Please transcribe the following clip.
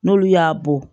N'olu y'a bɔ